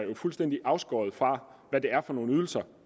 fuldstændig afskåret fra hvad det er for nogle ydelser